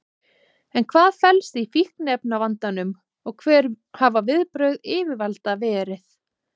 En hvað felst í fíkniefnavandanum og hver hafa viðbrögð yfirvalda verið?